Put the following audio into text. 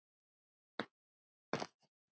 Trausta um þetta gleymd.